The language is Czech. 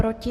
Proti?